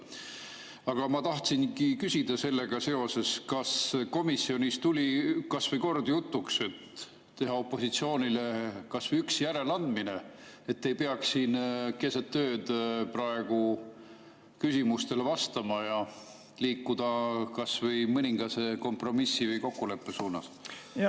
Aga ma tahtsingi küsida sellega seoses: kas komisjonis tuli kordki jutuks, et teha opositsioonile kas või üks järeleandmine, et te ei peaks siin keset ööd praegu küsimustele vastama, ja liikuda kas või mõningase kompromissi või kokkuleppe suunas?